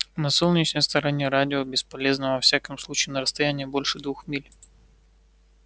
на солнечной стороне радио бесполезно во всяком случае на расстоянии больше двух миль